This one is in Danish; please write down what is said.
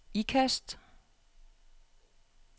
Ikast